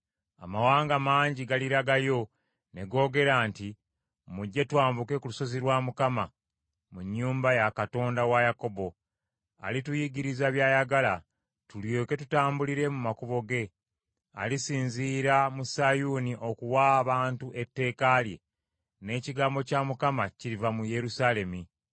Amawanga mangi galiragayo ne googera nti, “Mujje twambuke ku lusozi lwa Mukama , mu nnyumba ya Katonda wa Yakobo. Alituyigiriza by’ayagala tulyoke tutambulire mu makubo ge.” Alisinziira mu Sayuuni okuwa abantu etteeka lye, n’ekigambo kya Mukama kiriva mu Yerusaalemi.